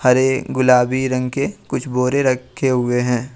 हरे गुलाबी रंग के कुछ बोरे रखे हुए हैं।